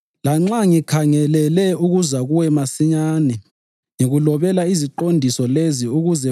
Lanxa ngikhangelele ukuza kuwe masinyane, ngikulobela iziqondiso lezi ukuze kuthi